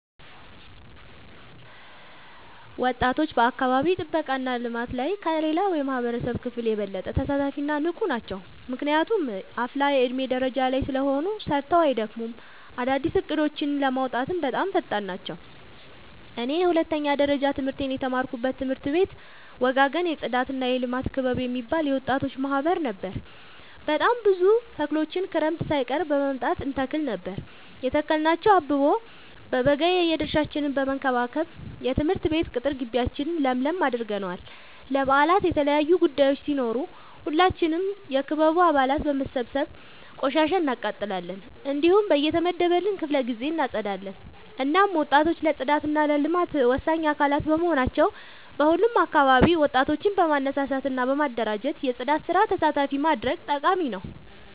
ወጣቶች በአካባቢ ጥብቃ እና ልማት ላይ ከሌላው የማህበረሰብ ክፍል የበለጠ ተሳታፊ እና ንቁ ናቸው። ምክንያቱም አፋላ የዕድሜ ደረጃ ላይ ስለሆኑ ሰርተው አይደክሙም፤ አዳዲስ እቅዶችን ለማውጣትም በጣም ፈጣን ናቸው። እኔ የሁለተኛ ደረጃ ትምህርቴን የተማርኩበት ትምህርት ቤት ወጋገን የፅዳትና የልማት ክበብ የሚባል የወጣቶች ማህበር ነበር። በጣም ብዙ ተክሎችን ክረምት ሳይቀር በመምጣ እንተክል ነበር የተከልናቸው አበቦ በበጋ የድርሻችን በመከባከብ የትምህርት ቤት ቅጥር ጊቢያችን ለምለም አድርገነዋል። ለበአላት የተለያዩ ቡዳዮች ሲኖሩ ሁላችንም የክበቡ አባላት በመሰብሰብ ቆሻሻ እናቃጥላለን። እንዲሁም በየተመደበልን ክፍለ ጊዜ እናፀዳለን። እናም ወጣቶች ለፅዳት እና ለልማት ወሳኝ አካላት በመሆናቸው በሁሉም አካባቢ ወጣቶችን በማነሳሳት እና በማደራጀት የፅዳት ስራ ተሳታፊ ማድረግ ጠቃሚ ነው።